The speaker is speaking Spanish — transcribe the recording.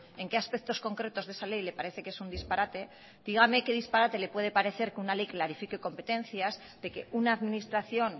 en qué aspectos concretos de esa ley le parece que es un disparate dígame qué disparate le puede parecer que una ley clarifique competencias de que una administración